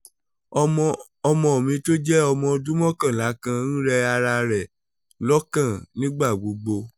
ọmọ ọmọ mi tó jẹ́ ọmọ ọdún mọ́kànlá kan ń rẹ ara rẹ̀ lọ́kàn nígbà gbogbo